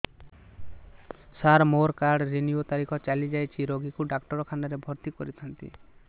ସାର ମୋର card renew ତାରିଖ ଚାଲି ଯାଇଛି ରୋଗୀକୁ ଡାକ୍ତରଖାନା ରେ ଭର୍ତି କରିଥାନ୍ତି